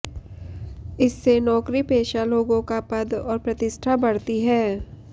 इससे नौकरी पेशा लोगों का पद और प्रतिष्ठा बढ़ती है